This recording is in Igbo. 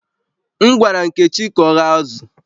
M gwara Nkechi ka o ghee azụ̀